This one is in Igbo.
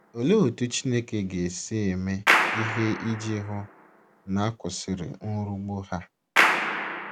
Olee otú Chineke ga - esi eme ihe iji hụ na a kwụsịrị nrugbu ha?